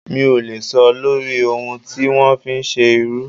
Mi ò lè sọ lórí ohun tí wọ́n fi ń ṣe irú.